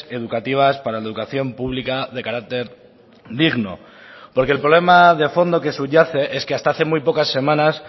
educativas para la educación pública de carácter digno porque el problema de fondo que subyace es que hasta hace muy pocas semanas